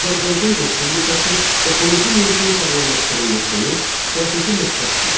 Azərbaycan Respublikası ekoloji mühitin sağlamlaşdırılmasını strateji məqsəd sayır.